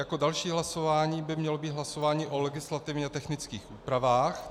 Jako další hlasování by mělo být hlasování o legislativně technických úpravách.